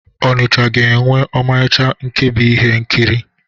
Ọnịcha ga-enwe ọmarịcha nkebi ihe nkiri.